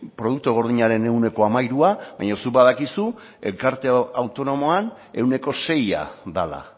produktu gordinaren ehuneko hamairua baina zuk badakizu erkidego autonomoan ehuneko seia dela